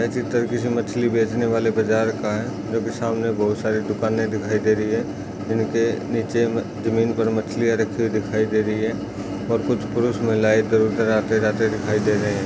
ये चित्र किसी मछली बेचने वाले बाज़ार का है जो की सामने बहुत सारी दुकाने दिखाई दे रही है यानि की नीचे जमीन पर मछलियाँ रखी हुई दिखाई दे रही है और कुछ पुरुष महिलाएँ इधर-उधर आते जाते दिखाई दे रहे है।